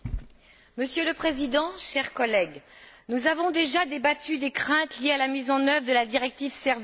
Monsieur le Président, chers collègues, nous avons déjà débattu des craintes liées à la mise en œuvre de la directive services.